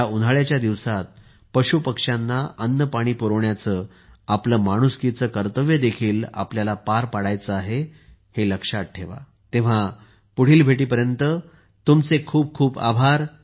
या उन्हाळ्याच्या दिवसांत पशुपक्ष्यांना अन्नपाणी पुरवण्याचे आपले माणुसकीचे कर्तव्यदेखील आपल्याला निभवायचे आहे हे लक्षात ठेवा तोपर्यंत तुमचे खूप खूप आभार